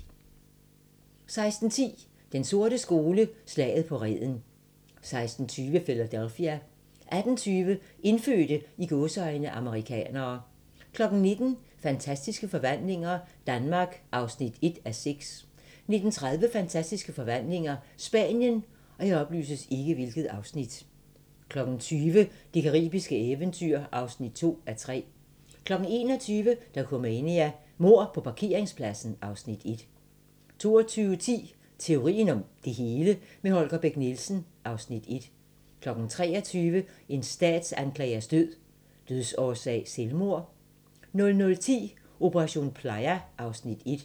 16:10: Den sorte skole: Slaget på Reden 16:20: Philadelphia 18:20: Indfødte "amerikanere" 19:00: Fantastiske forvandlinger - Danmark (1:6) 19:30: Fantastiske forvandlinger - Spanien 20:00: Det caribiske eventyr (2:3) 21:00: Dokumania: Mord på parkeringspladsen (Afs. 1) 22:10: Teorien om det hele – med Holger Bech Nielsen (Afs. 1) 23:00: En statsanklagers død: Dødsårsag selvmord? 00:10: Operation Playa (Afs. 1)